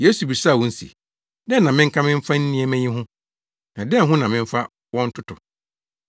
Yesu bisaa wɔn se, “Dɛn na menka mfa nnɛmma yi ho; na dɛn ho na memfa wɔn ntoto?